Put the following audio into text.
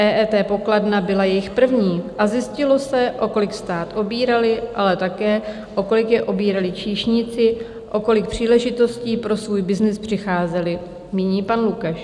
"EET pokladna byla jejich první a zjistilo se, o kolik stát obírali, ale také o kolik je obírali číšníci, o kolik příležitostí pro svůj byznys přicházeli," míní pan Lukeš.